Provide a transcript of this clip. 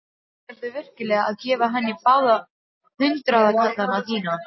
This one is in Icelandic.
Ætlarðu virkilega að gefa henni báða hundraðkallana þína?